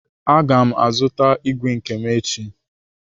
Aga m azụta ígwè nke m echi.